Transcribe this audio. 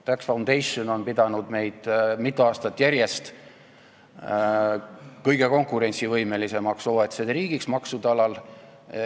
Tax Foundation on pidanud meid mitu aastat järjest kõige konkurentsivõimelisemaks OECD riigiks maksude alal.